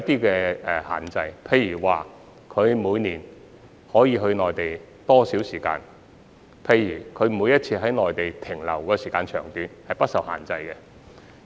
舉例而言，這些車輛每年可以前往內地多少時間，以及每次在內地逗留多久等，均不受限制。